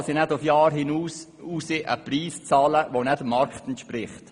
Klar kann sie nicht auf Jahre hinaus einen Preis zahlen, der nicht dem Markt entspricht.